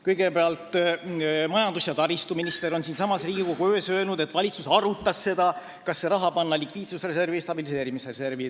Kõigepealt, majandus- ja taristuminister on siinsamas Riigikogu ees öelnud, et valitsus arutas, kas panna see raha likviidsusreservi või stabiliseerimisreservi.